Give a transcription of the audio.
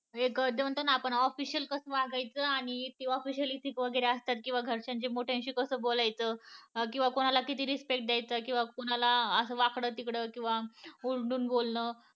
"एक जे म्हणतो ना आपण official कसं वागायचं आणि ती official ethic वैगेरे असतात किंवा घरच्यांशी मोठ्यांशी कसं बोलाचं किंवा कोणाला किती respect द्यायचा किंवा कोणाला असं वाकड टिकडं किंवा उलट बोलणं"